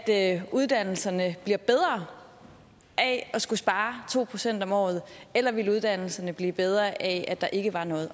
det at uddannelserne bliver bedre af at skulle spare to procent om året eller ville uddannelserne blive bedre af at der ikke var noget